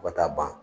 Fo ka taa ban